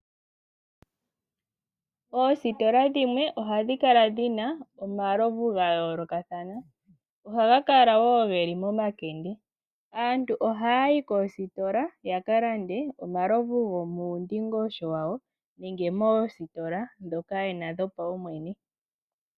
Oositola dhimwe ohadhi kala dhina omalovu ga yoolokathana. Ohaga kala woo geli momakende. Aantu ohaya yi koositola ya kalande omalovu gomuundingosho wawo nenge moositola ndhoka yena dhopawumwene.